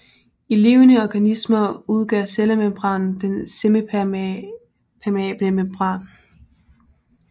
I levende organismer udgør cellemembranen den semipermeablemembran